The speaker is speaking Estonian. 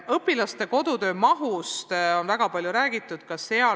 Õpilaste kodutöö mahust on väga palju räägitud.